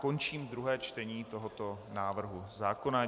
Končím druhé čtení tohoto návrhu zákona.